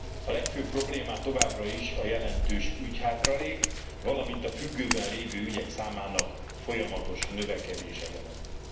A legfőbb problémát továbbra is a jelentős ügyhátralék, valamint a függőben lévő ügyek számának folyamatos növekedése jelenti.